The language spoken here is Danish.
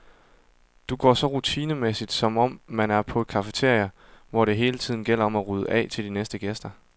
Det går så rutinemæssigt, som om man er på et cafeteria, hvor det hele tiden gælder om at rydde af til de næste gæster.